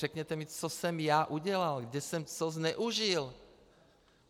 Řekněte mi, co jsem já udělal, kde jsem co zneužil.